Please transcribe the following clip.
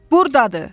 Buradadır!